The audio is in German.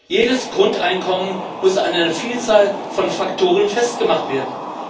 Jedes Grundeinkommen muss an einer Vielzahl von Faktoren festgemacht werden.